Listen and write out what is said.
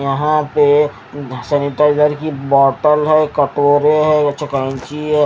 यहां पे सैनिटाइजर की बोटल है कटोरे है येच केची है।